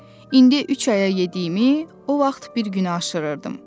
İndi üç aya yediyimi o vaxt bir günə aşırırdım."